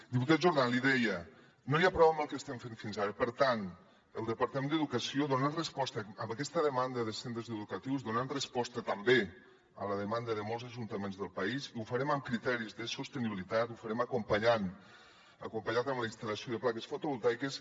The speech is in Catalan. diputat jordan l’hi deia no n’hi ha prou amb el que estem fent fins ara per tant el departament d’educació dona resposta a aquesta demanda dels centres educatius dona resposta també a la demanda de molts ajuntaments del país i ho farem amb criteris de sostenibilitat ho farem acompanyant la instal·lació de plaques fotovoltaiques